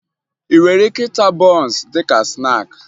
Ị nwere ike ịta bọọnsụ dị ka snaakị